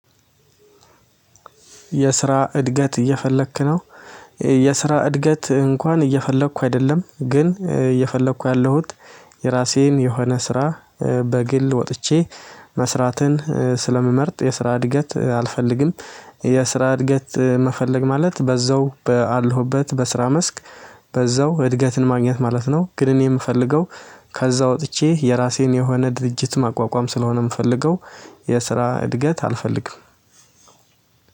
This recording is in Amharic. የስራ እድገት እየፈለክ ነው። የስራ እድገት እንኳን እየፈለኩ አይደለም ግን እየፈለኩ ያለሁት የራሴን የሆነ ስራ በግል ወጥቼ መስራትን ስለምመርጥ የስራ እድገት አልፈልግም። የስራ እድገት መፈለግ ማለት በዛው ባለሁበት በስራ መስክ በዛው እድገትን ማግኘት ማለት ነው። ግን እኔ የምፈልገው ከዛ ወጥቼ የራሴን የሆነ ድርጅት ማቋቋም ስለሆነ የምፈልገው የስራ እድገት አልፈልግም።